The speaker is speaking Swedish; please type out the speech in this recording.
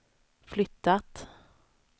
flyttat